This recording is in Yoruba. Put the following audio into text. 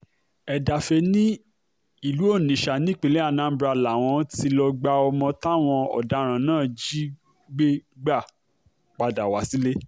Edafe ni ilu Onitsha ni ipinlẹ Anambra lawọn ti lọ gba ọmọ tawọn ọdaran naa jigbe gba pada wa sile.